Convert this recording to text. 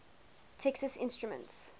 texas instruments